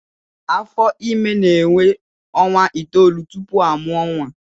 Afọ Ímé na-énwé ọnwa itoolu tupu a mụọ nwa